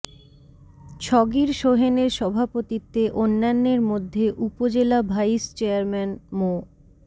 ছগির সোহেনের সভাপতিত্বে অন্যান্যের মধ্যে উপজেলা ভাইস চেয়ারম্যান মো